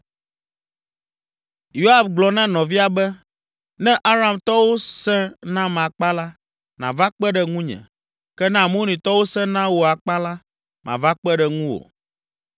Yoab gblɔ na nɔvia be, “Ne Aramtɔwo sẽ nam akpa la, nàva kpe ɖe ŋunye, ke ne Amonitɔwo sẽ na wò akpa la, mava kpe ɖe ŋuwò.